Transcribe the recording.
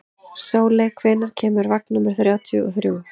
Sóley, hvenær kemur vagn númer þrjátíu og þrjú?